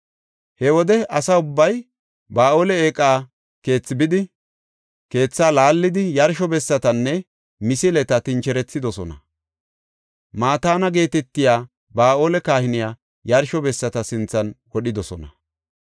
He wode asa ubbay Ba7aale Eeqa Keethi bidi, keethaa laallidi; yarsho bessatanne misileta tincherethidosona. Mataana geetetiya Ba7aala kahiniya yarsho bessata sinthan wodhidosona.